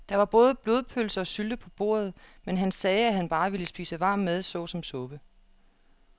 Der var både blodpølse og sylte på bordet, men han sagde, at han bare ville spise varm mad såsom suppe.